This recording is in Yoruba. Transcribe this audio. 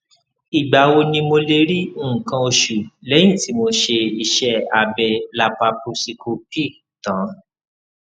ìgbà wo ni mo lè rí nǹkan oṣù lẹyìn tí mo ṣe iṣẹ abẹ laparosíkópì tán